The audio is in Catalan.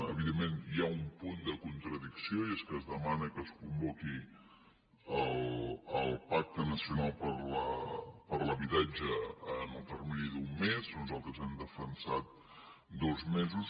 evidentment hi ha un punt de contradicció i és que es demana que es convoqui el pacte nacional per a l’habitatge en el termini d’un mes nosaltres hem defensat dos mesos